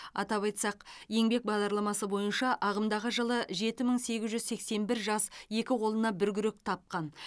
атап айтсақ еңбек бағдарламасы бойынша ағымдағы жылы жеті мың сегіз жүз сексен бір жас екі қолына бір күрек тапқан